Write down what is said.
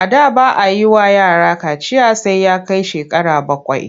A da ba a yi wa yara kaciya sai ya kai shekara bakwai.